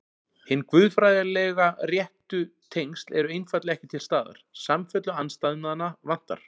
Hin guðfræðilega réttu tengsl eru einfaldlega ekki til staðar, samfellu andstæðnanna vantar.